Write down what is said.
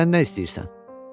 Bəs sən nə istəyirsən?